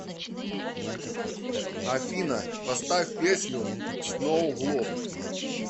афина поставь песню сноу глоб